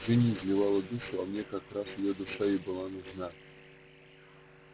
джинни изливала душу а мне как раз её душа и была нужна